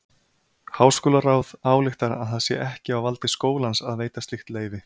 Háskólaráð ályktar að það sé ekki á valdi skólans að veita slíkt leyfi.